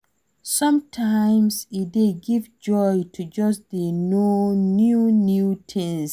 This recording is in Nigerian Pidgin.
Sometimes e dey give joy to just dey know new new things